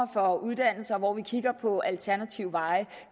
for uddannelse hvor vi kigger på alternative veje